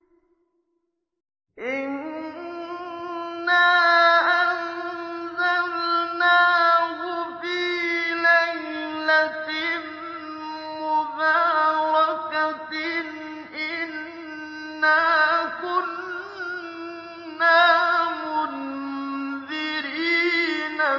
إِنَّا أَنزَلْنَاهُ فِي لَيْلَةٍ مُّبَارَكَةٍ ۚ إِنَّا كُنَّا مُنذِرِينَ